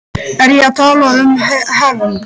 Er ég að tala um hefnd?